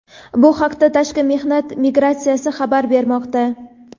Bu haqda Tashqi mehnat migratsiyasi xabar bermoqda.